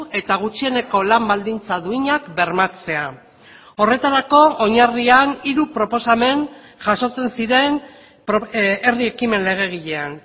eta gutxieneko lan baldintza duinak bermatzea horretarako oinarrian hiru proposamen jasotzen ziren herri ekimen legegilean